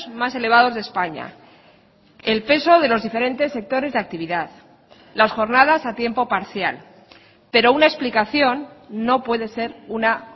más elevados de españa el peso de los diferentes sectores de actividad las jornadas a tiempo parcial pero una explicación no puede ser una